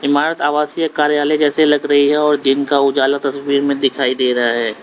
भारत आवासीय कार्यालय जैसे लग रही है और दिन का उजाला तस्वीर में दिखाई दे रहा है।